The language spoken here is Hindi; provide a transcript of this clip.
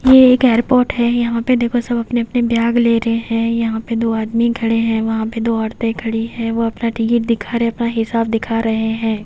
ये एक एयरपोर्ट है यहां पे देखो सब अपने-अपने बैग ले रहे हैं यहां पे दो आदमी खड़े हैं वहां पे दो औरतें खड़ी हैं वो अपना टिकट दिखा रहे हैं अपना हिसाब दिखा रहे हैं।